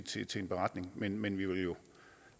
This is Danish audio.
til til en beretning men men